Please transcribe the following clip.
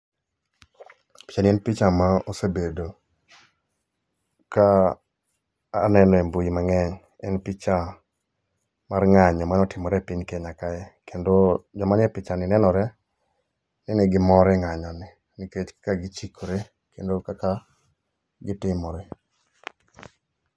Picha ni en picha ma osebedo ka anene e mbui mang'eny. En picha mar ng'anyo mane otimore e piny Kenya kae. Kendo, joma ni e picha ni nenore ni negimor e ng'anyo ni nikech kaka gichikore kendo kaka gitimore.